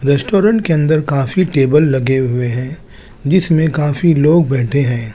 Restaurant के अंदर काफी टेबल लगे हुए हैं जिसमें काफी लोग बैठे हैं।